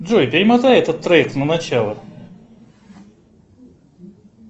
джой перемотай этот трек на начало